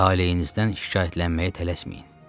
Talehinizdən şikayətlənməyə tələsməyin.